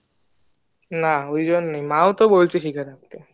না ওই জন্যেই মাও তো বলছে শিখে রাখে